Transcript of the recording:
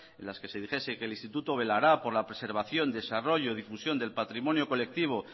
las que se dijese que el instituto velará por preservación desarrollo difusión del patrimonio colectivo